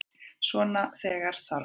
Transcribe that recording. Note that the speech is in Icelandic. Svona þegar með þarf.